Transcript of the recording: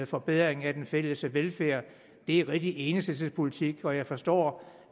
forbedring af den fælles velfærd det er rigtig enhedslistepolitik og jeg forstår